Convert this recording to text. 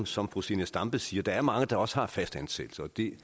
som fru zenia stampe siger at der er mange der også har fastansættelse og det